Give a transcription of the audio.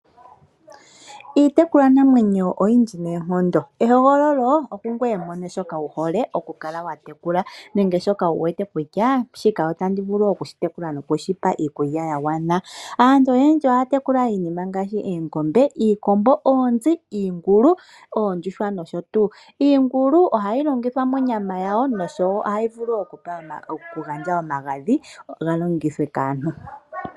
Iitekulwa namwenyo oyindji noonkondo ehogololo okungoye mwene shoka wuhole okukala watekula nenge shoka wu wete kutya shika otandi vulu okushitekula nokushipa iikulya yagwana. Aantu oyendji ohaya tekula iinima ngaashi oongombr, iikombo, oonzi, iingulu oondjuhwa nosho tuu iingulu ohayi onyama yawo nosho tuu . Iingulu ohayi longithwa monyama yawo noshowo ohayi vulu okugandja omagadhi ga longithwe kaantu.